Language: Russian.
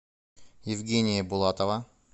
евгения булатова